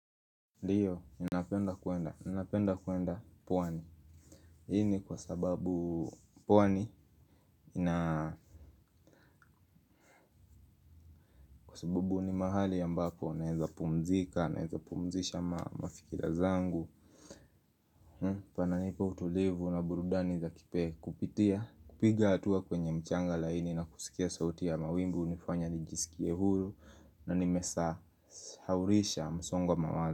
Ndio, ninapenda kuenda, ninapenda kuenda pwani, hii ni kwa sababu pwani ina kwa sababu ni mahali ambako, naeza pumzika, naeza pumzisha mafikira zangu. Pananipa utulivu na burudani za kipe kupitia kupiga hatua kwenye mchanga laini na kusikia sauti ya mawingu, hunifanya nijisikie huru na nimesahaulisha msongo wa mawazo.